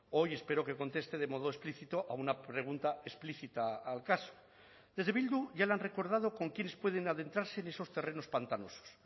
hoy espero que conteste de modo explícito a una pregunta explícita al caso desde bildu ya le han recordado con quienes pueden adentrarse en esos terrenos pantanosos